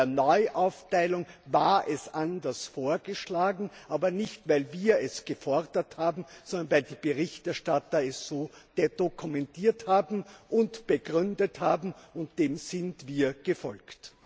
In der Neuaufteilung war es anders vorgeschlagen, aber nicht, weil wir es gefordert haben, sondern weil die Berichterstatter es so detto kommentiert haben und begründet haben, und dem sind wir gefolgt.